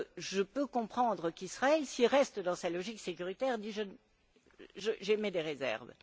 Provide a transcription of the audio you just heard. Je peux comprendre qu'Israël, s'il reste dans sa logique sécuritaire, dise J'émets des réserves.